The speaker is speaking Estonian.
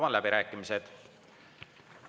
Avan läbirääkimised.